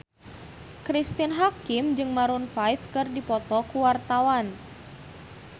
Cristine Hakim jeung Maroon 5 keur dipoto ku wartawan